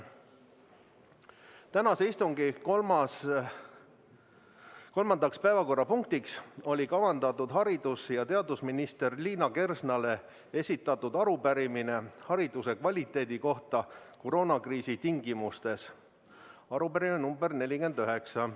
Tänase istungi kolmandaks päevakorrapunktiks oli kavandatud haridus- ja teadusminister Liina Kersnale esitatud arupärimine hariduse kvaliteedi kohta koroonakriisi tingimustes – arupärimine nr 49.